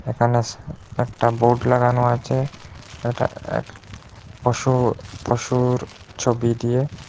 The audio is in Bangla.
এখানে একটা বোর্ড লাগানো আছে এটা এক পশুর পশুর ছবি দিয়ে।